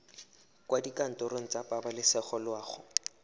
kwa dikantorong tsa pabalesego loago